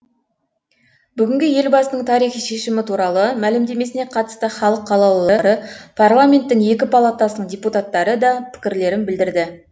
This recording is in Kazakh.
бүгінгі елбасының тарихи шешімі туралы мәлімдемесіне қатысты халық қалаулылары парламенттің екі палатасының депутаттары да пікірлерін білдірді